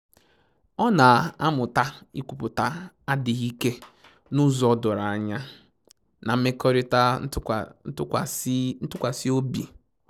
Ọ na-amụta ikwupụta adịghị ike n'ụzọ doro anya na mmekọrịta ntụkwasị obi